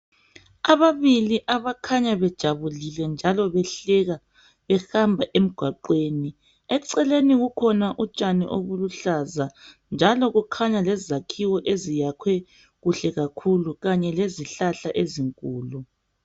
Ababili abakhanya bethokozile njalo behleka behamba emgwaqweni eceleni kukhona utshani obuluhlaza njalo kukhanya lezakhiwo eziyakhwe kuhle kakhulu kanye lezihlahla ezinkulu.